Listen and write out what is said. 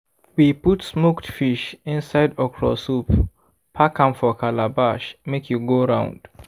we put smoked fish inside okra soup pack am for calabash make e go round.